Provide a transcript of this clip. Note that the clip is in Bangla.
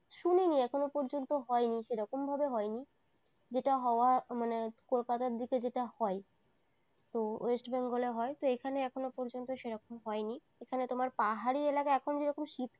শুনিনি এখনো পর্যন্ত হয়নি সেরকম ভাবে হয়নি যেটা হওয়া মানে কলকাতার দিকে যেটা হয় তো west bengal এ হয় তো এখানে এখনো পর্যন্ত সেরকম হয়নি এখানে তোমার পাহাড়ি এলাকায় এখন যেরকম শীত